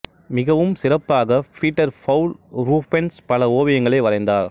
மிகவும் சிறப்பாக Peter Paul Rubens பல ஓவியங்களை வரைந்தார்